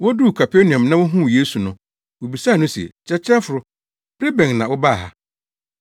Woduu Kapernaum na wohuu Yesu no, wobisaa no se, “Kyerɛkyerɛfo, bere bɛn na wobaa ha?”